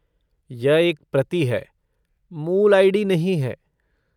यह एक प्रति है, मूल आई.डी. नहीं है।